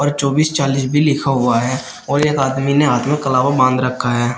और चौबीस चालीस भी लिखा हुआ है और एक आदमी ने हाथ में कलावा बांध रखा है।